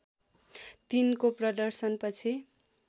३ को प्रदर्शनपछि